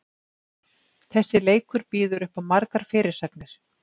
Þessi leikur býður uppá margar fyrirsagnir.